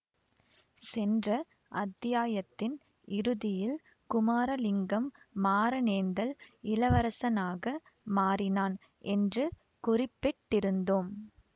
சென்ற அத்தியாயத்தின் இறுதியில் குமாரலிங்கம் மாறனேந்தல் இளவரசனாக மாறினான் என்று குறிப்பிட்டிருந்தோம்